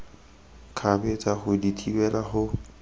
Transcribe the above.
kgabetsa go di thibela go